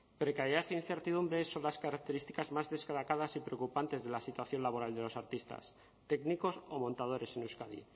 precariedad e incertidumbre son las características más destacadas y preocupantes de la situación laboral de los artistas técnicos o montadores en euskadi